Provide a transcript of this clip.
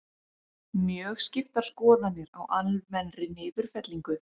Mjög skiptar skoðanir á almennri niðurfellingu